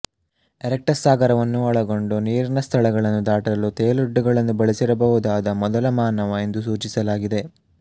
erectus ಸಾಗರವನ್ನೂ ಒಳಗೊಂಡು ನೀರಿನ ಸ್ಥಳಗಳನ್ನು ದಾಟಲು ತೇಲೊಡ್ಡುಗಳನ್ನು ಬಳಸಿರ ಬಹುದಾದ ಮೊದಲ ಮಾನವ ಎಂದು ಸೂಚಿಸಲಾಗಿದೆ